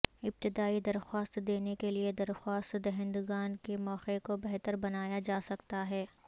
ابتدائی درخواست دینے کے لئے درخواست دہندگان کے موقع کو بہتر بنایا جا سکتا ہے